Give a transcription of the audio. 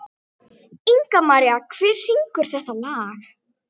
Ingimaría, hver syngur þetta lag?